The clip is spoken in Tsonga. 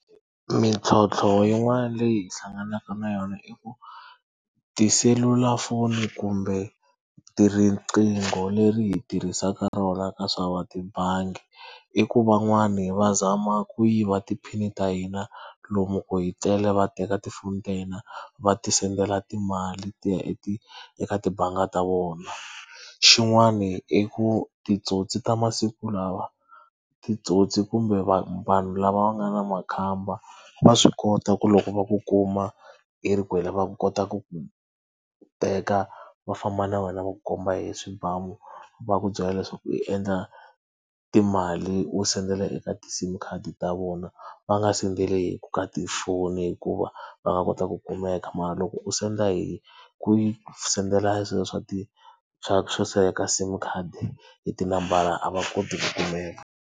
Mintlhontlho yin'wani leyi hi hlanganaka na yona i ku, tiselulafoni kumbe tinqingho leri hi tirhisaka rona ka swa va tibangi i ku van'wani va zama ku yiva ti-pin ta hina lomu ku hi tlele va teka tifoni ta hina va ti-send-ela timali ti ya eka tibangi ta vona. Xin'wana i ku titsotsi ta masiku lawa titsotsi kumbe vanhu lava va nga na makhamba, va swi kota ku loko va ku kuma i ri kwale va ku kota ku ku teka va famba na wena va ku komba hi swibamu va ku byela leswaku i endla timali u send-ela eka ti-sim khadi ta vona, va nga send-eli ka tifoni hikuva va nga kota ku kumeka mara loko u senda hi ku yi send-ela hi swilo swa ti ka sim khadi, hi ti nambara a va koti ku kumeka.